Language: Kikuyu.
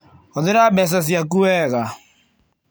Hũthĩra mbeca ciaku wega.